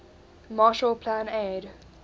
marshall plan aid